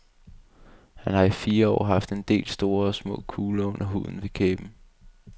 Han har i fire år haft en del store og små kugler under huden ved kæben.